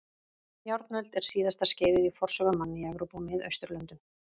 Járnöld er síðasta skeiðið í forsögu manna í Evrópu og Miðausturlöndum.